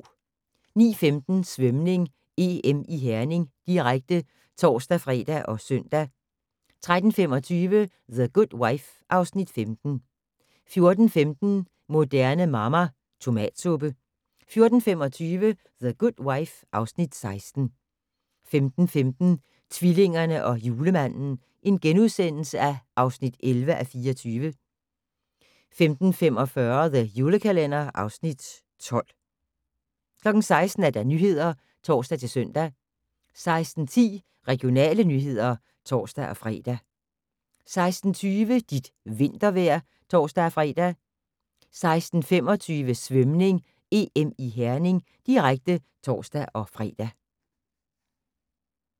09:15: Svømning: EM i Herning, direkte (tor-fre og søn) 13:25: The Good Wife (Afs. 15) 14:15: Moderne Mamma - Tomatsuppe 14:25: The Good Wife (Afs. 16) 15:15: Tvillingerne og Julemanden (11:24)* 15:45: The Julekalender (Afs. 12) 16:00: Nyhederne (tor-søn) 16:10: Regionale nyheder (tor-fre) 16:20: Dit vintervejr (tor-fre) 16:25: Svømning: EM i Herning, direkte (tor-fre)